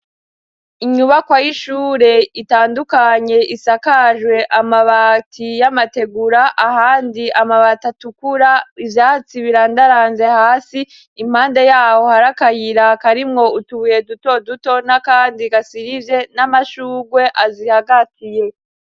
Inyubako y'ishure itandukanye isakajwe amabati y'amategura ahandi amabati atukura ivyatsi birandaranze hasi impande yabo hariakayiraka arimwo utubuye duto duto na kandi gasirivye n'amashugwe azihagatiye.